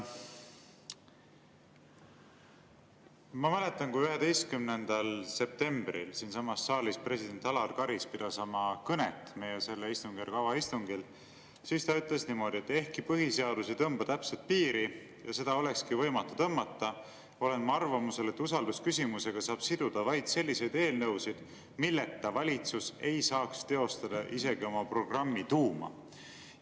Ma mäletan, kui 11. septembril siinsamas saalis president Alar Karis pidas oma kõnet meie selle istungjärgu avaistungil, siis ta ütles niimoodi: "Ehkki põhiseadus ei tõmba täpset piiri – ja seda olekski võimatu tõmmata –, olen ma arvamusel, et usaldusküsimusega saab siduda vaid selliseid eelnõusid, milleta valitsus ei saaks teostada isegi oma programmi tuuma.